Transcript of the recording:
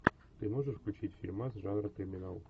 ты можешь включить фильмас жанра криминал